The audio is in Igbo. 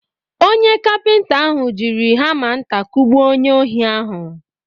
Onye kapinta ahụ jiri hama nta kugbuo onye ohi ahụ.